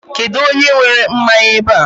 Kedụ onye were mmanya ebe a?